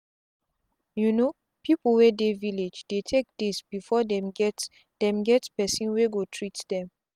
you no people wey dey village dey take days before them get them get person wey go treat dem.